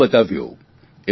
જીવીને બતાવ્યું